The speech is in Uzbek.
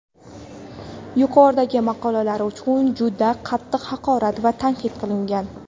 yuqoridagi maqolalar uchun juda qattiq haqorat va tahdid qilgan.